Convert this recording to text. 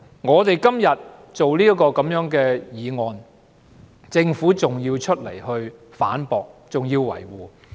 我們今天提出這項議案，政府還要出來反駁和維護。